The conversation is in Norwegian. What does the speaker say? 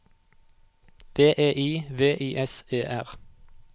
V E I V I S E R